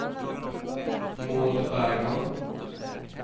Maud Bergman